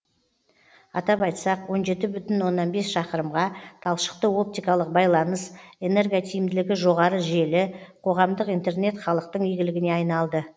атап айтсақ он жеті бүтін оннан бес шақырымға талшықты оптикалық байланыс энерготиімділігі жоғары желі қоғамдық интернет халықтың игілігіне айналды